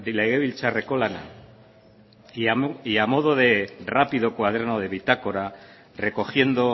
legebiltzarreko lana ya modo de rápido cuaderno de bitácora recogiendo